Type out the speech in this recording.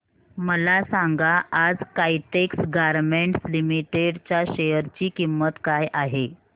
मला सांगा आज काइटेक्स गारमेंट्स लिमिटेड च्या शेअर ची किंमत काय आहे